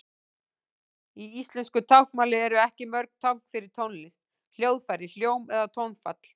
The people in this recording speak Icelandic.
Í íslensku táknmáli eru ekki mörg tákn fyrir tónlist, hljóðfæri, hljóm eða tónfall.